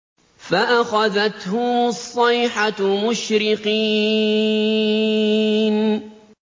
فَأَخَذَتْهُمُ الصَّيْحَةُ مُشْرِقِينَ